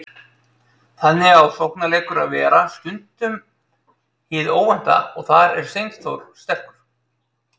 Þannig á sóknarleikur að vera, stundum hið óvænta, og þar er Steinþór sterkur.